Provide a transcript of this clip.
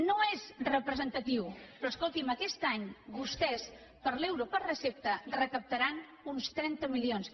no és representatiu però escolti’m aquest any vostès per l’euro per recepta recaptaran uns trenta milions